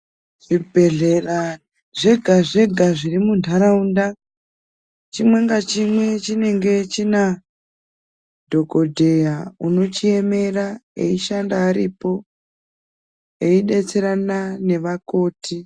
Zvibhedhlera zvega-zvega zviri muntaraunda chimwe ngachimwe chinenge china dhokotera unochiemera eishanda aripo eidetserana nevakoti.